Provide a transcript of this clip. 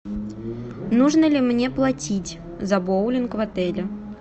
нужно ли мне платить за боулинг в отеле